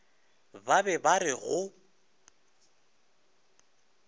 ba be ba re go